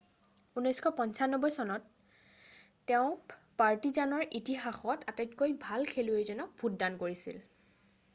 1995 চনত তেওঁ পাৰ্টিজানৰ ইতিহাসত আটাইতকৈ ভাল খেলুৱৈজনক ভোটদান কৰিছিল৷